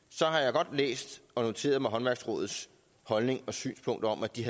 så har jeg godt læst og noteret mig håndværksrådets holdning og synspunkt om at de